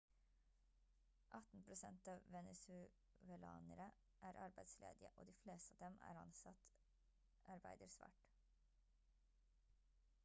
18 prosent av venezuelanere er arbeidsledige og de fleste av dem som er ansatt arbeider svart